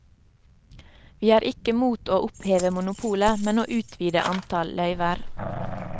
Vi er ikke mot å oppheve monopolet, men å utvide antall løyver.